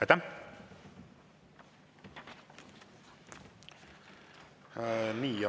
Aitäh!